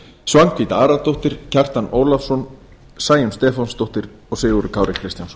svanhvít aradóttir kjartan ólafsson sæunn stefánsdóttir og sigurður kári kristjánsson